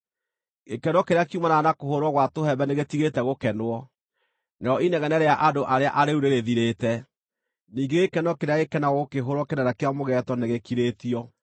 Gĩkeno kĩrĩa kiumanaga na kũhũũrwo gwa tũhembe nĩgĩtigĩte gũkenwo, narĩo inegene rĩa andũ arĩa arĩĩu nĩrĩthirĩte, ningĩ gĩkeno kĩrĩa gĩkenagwo gũkĩhũũrwo kĩnanda kĩa mũgeeto nĩgĩkirĩtio.